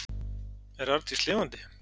Er Arndís lifandi?